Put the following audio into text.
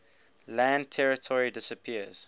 land territory disappears